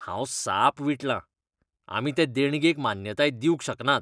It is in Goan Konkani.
हांव साप विटलां ! आमी ते देणगेक मान्यताय दिवंक शकनात.